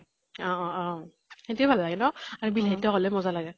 অ অ অ সেইটোয়ে ভাল লাগে ন? বিলাহী ট্ক হলে মজা লাগে।